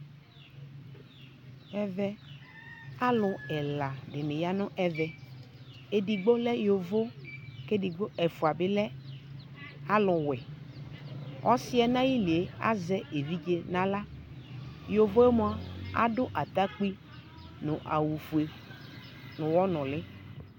ɔwʋ ayi ɔnɛ di lantɛ bibii, anadʋ amɔ, ʋwɛ madʋ ayiava kpa nabʋɛ kʋ asɛnyi Anni wlɛdu kʋ ɔwʋ bɛ di ɛƒʋɛlɛ dʋ ayiava tʋ ɔwʋɛ ta ability kɔ mʋa mʋ ʋwɛ akpa la matɛ ɛƒʋɛ